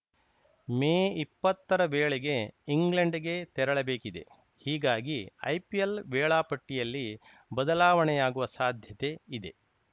ಮೇ ಇಪ್ಪತ್ತರ ವೇಳೆಗೆ ಇಂಗ್ಲೆಂಡ್‌ಗೆ ತೆರಳಬೇಕಿದೆ ಹೀಗಾಗಿ ಐಪಿಎಲ್‌ ವೇಳಾಪಟ್ಟಿಯಲ್ಲಿ ಬದಲಾವಣೆಯಾಗುವ ಸಾಧ್ಯತೆ ಇದೆ